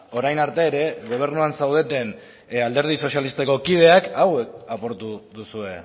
orain arte ere gobernuan zaudeten alderdi sozialistako kideak hauek apurtu duzue